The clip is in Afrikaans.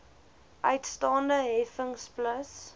uitstaande heffings plus